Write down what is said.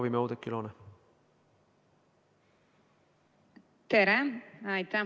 Tere, aitäh!